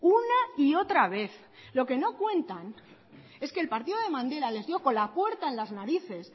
una y otra vez lo que no cuentan es que el partido de mandela les dio con la puerta en las narices